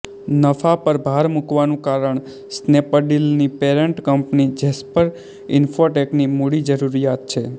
નફા પર ભાર મૂકવાનું કારણ સ્નેપડીલની પેરન્ટ કંપની જેસ્પર ઇન્ફોટેકની મૂડી જરૂરિયાત છે